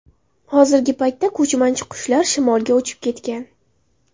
Hozirgi paytda ko‘chmanchi qushlar shimolga uchib ketgan.